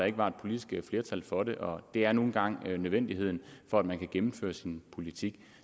ikke var politisk flertal for det og det er nu engang nødvendigt for at man kan gennemføre sin politik